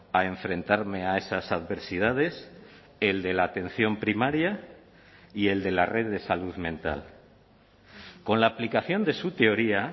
a enfrentarme a esas adversidades el de la atención primaria y el de la red de salud mental con la aplicación de su teoría